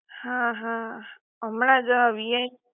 હા હા હમણા જ વીઆઈ